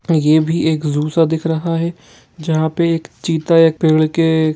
यह भी एक ज़ू सा दिख रहा है जहां पे एक चिता एक पेड़ के--